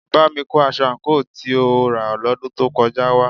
Bámi kó aṣọ àǹkóò tí a rà lọ́dún tó kọjá wá